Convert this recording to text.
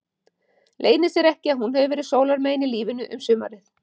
Leynir sér ekki að hún hefur verið sólarmegin í lífinu um sumarið.